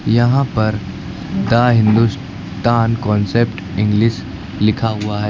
यहां पर the Hindustan concept English लिखा हुआ है।